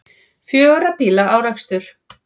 Fjögurra bíla árekstur